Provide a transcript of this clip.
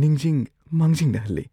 ꯅꯤꯡꯖꯤꯡ ꯃꯥꯡꯖꯤꯡꯅꯍꯜꯂꯦ꯫